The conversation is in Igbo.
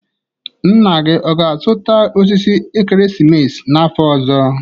Nna gị ọ ga-azụta osisi ekeresimesi n'afọ ọzọ?